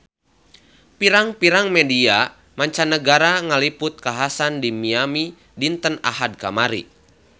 Pirang-pirang media mancanagara ngaliput kakhasan di Miami dinten Ahad kamari